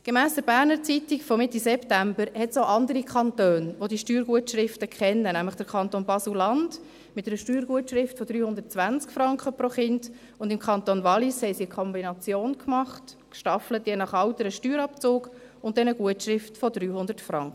Gemäss «Berner Zeitung» von Mitte September gibt es auch andere Kantone, welche diese Steuergutschriften kennen, nämlich der Kanton Basel-Landschaft, mit einer Steuergutschrift von 320 Franken pro Kind, und im Kanton Wallis haben sie eine Kombination gewählt, ein nach Alter gestaffelter Steuerabzug und eine Gutschrift von 300 Franken.